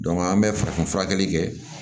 an bɛ farafin fura kɛli kɛ